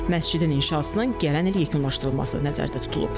Məscidin inşasına gələn il yekunlaşdırılması nəzərdə tutulub.